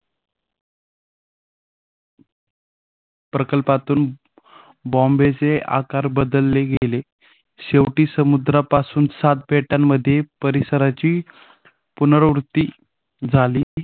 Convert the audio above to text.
प्रकल्पातून बॉम्बेचे आकार बदलले गेले. शेवटी समुद्रपासून सात बेटांमध्ये परिसराची पुनरावृत्ती झाली